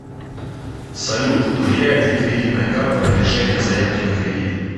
салют влияет ли кредитная карта на решения заявки на кредит